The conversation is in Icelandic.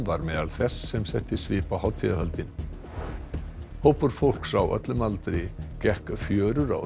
var meðal þess sem setti svip á hátíðahöldin hópur fólks á öllum aldri gekk fjörur á